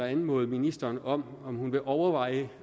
anmode ministeren om om at overveje